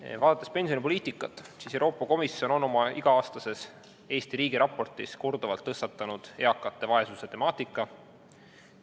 Kui vaadata pensionipoliitikat, siis Euroopa Komisjon on oma iga-aastases Eesti riigiraportis korduvalt tõstatanud eakate vaesuse temaatika.